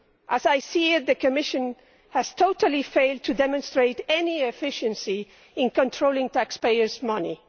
As I see it, the Commission has totally failed to demonstrate any efficiency in controlling taxpayers' money.